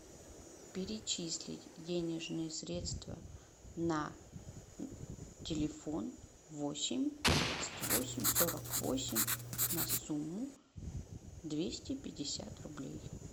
перечислить денежные средства на телефон восемь тридцать восемь сорок восемь на сумму двести пятьдесят рублей